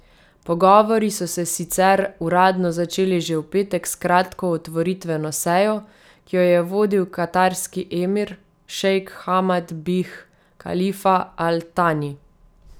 Pogovori so se sicer uradno začeli že v petek s kratko otvoritveno sejo, ki jo je vodil katarski emir, šejk Hamad bih Kalifa al Tani.